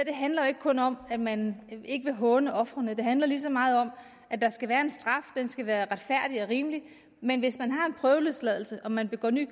handler jo ikke kun om at man ikke vil håne ofrene det handler lige så meget om at der skal være en straf den skal være retfærdig og rimelig men hvis man har en prøveløsladelse og man begår ny